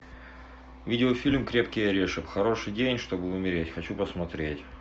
видеофильм крепкий орешек хороший день чтобы умереть хочу посмотреть